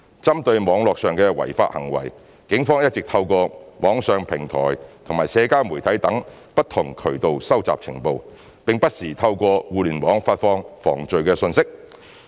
針對網絡上的違法行為，警方一直透過網上平台及社交媒體等不同渠道收集情報，並不時透過互聯網發放防罪信息。